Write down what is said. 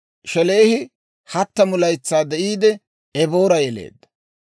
Shelaahi 30 laytsaa de'iide, Eboora yeleedda;